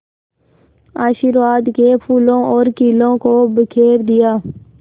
आशीर्वाद के फूलों और खीलों को बिखेर दिया